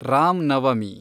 Ram Navami